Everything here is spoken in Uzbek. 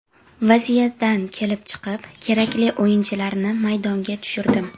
Vaziyatdan kelib chiqib kerakli o‘yinchilarni maydonga tushirdim.